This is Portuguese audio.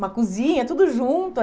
Uma cozinha, tudo junto.